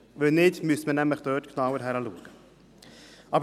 Wenn nicht, müsste man da genauer hinsehen.